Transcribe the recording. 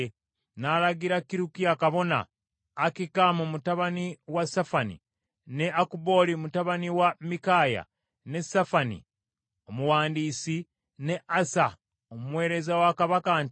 N’alagira Kirukiya kabona, Akikamu mutabani wa Safani, ne Akubooli mutabani wa Mikaaya, ne Safani omuwandiisi, ne Asaya omuweereza wa kabaka nti,